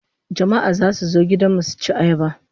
Jama'a zasu zo gudan mu suci ayaba